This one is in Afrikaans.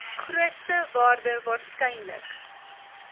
grootste waarde waarskynlik